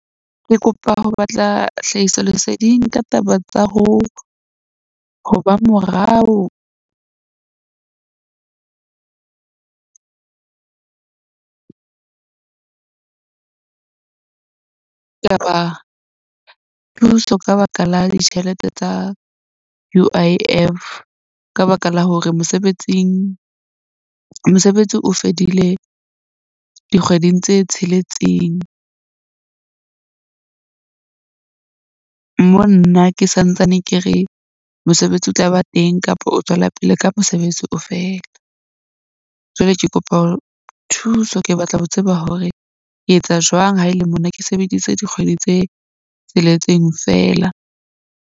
Ke kopa ho batla hlahisoleseding ka taba tsa ho ba morao. Thuso ka baka la ditjhelete tsa U_I_F ka baka la hore mosebetsing, mosebetsi o fedile dikgweding tse tsheletseng. Mo nna ke santsane ke re mosebetsi o tla ba teng kapa o tswela pele ka mosebetsi o fele. Jwale ke kopa hore thuso. Ke batla ho tseba hore ke etsa jwang ha e le mona ke sebeditse dikgwedi tse tsheletseng fela.